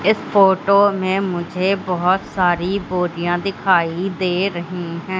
इस फोटो में मुझे बहोत सारी बोरिया दिखाई दे रही है।